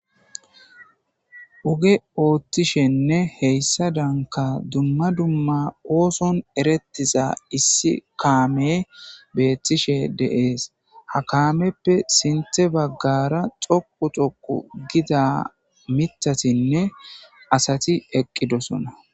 oge ooththishenne heyssa danka dumma dumma ooson erettiza issi kaame beettishe deees ha kaameppe sinthe baggara xoqu xoku gida mitatinne asati eqqidosona